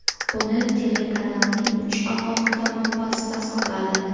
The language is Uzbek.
Buni telekanalning uch alohida manbasi tasdiqladi.